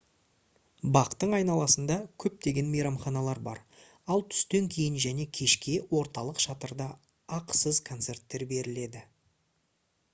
бақтың айналасында көптеген мейрамханалар бар ал түстен кейін және кешке орталық шатырда ақысыз концерттер беріледі